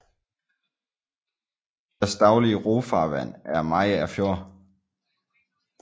Deres daglige rofarvand er Mariager Fjord